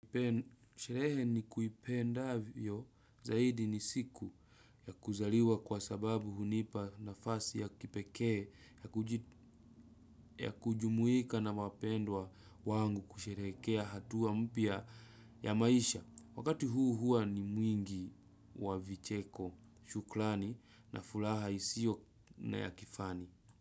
Sherehe nikuipendavyo zaidi ni siku ya kuzaliwa kwa sababu hunipa nafasi ya kipekee ya kujumuika na wapendwa wangu kusheherekea hatua mpya ya maisha. Wakati huu hua ni mwingi wa vicheko shukrani na furaha isiyo na ya kifani.